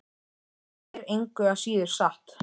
En það er engu að síður satt.